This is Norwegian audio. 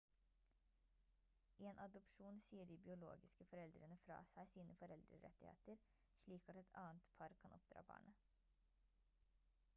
i en adopsjon sier de biologiske foreldrene fra seg sine foreldrerettigheter slik at et annet par kan oppdra barnet